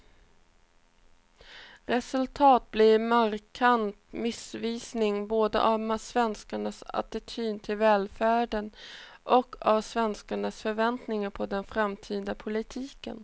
Resultatet blir en markant missvisning både av svenskarnas attityd till välfärden och av svenskarnas förväntningar på den framtida politiken.